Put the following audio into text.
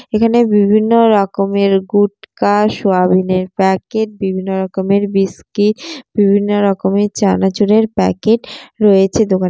এখানে বিভিন্ন রকমের গুটকা সোয়াবিনের প্যাকেট বিভিন্ন রকমের বিস্কিট বিভিন্ন রকমের চানাচুরের প্যাকেট রয়েছে দোকানে।